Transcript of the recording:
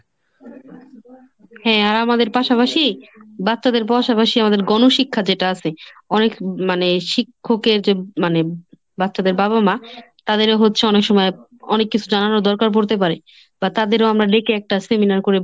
হ্যাঁ আমাদের পাশাপাশি বাচ্চাদের পাশাপাশি আমাদের গণশিক্ষা যেটা আছে অনেক মানে শিক্ষকের যে মানে বাচ্চাদের বাবা মা তাদেরও হচ্ছে অনেক সময় অনেক কিছু জানানোর দরকার পড়তে পারে বা তাদেরও আমরা ডেকে একটা সেমিনার করে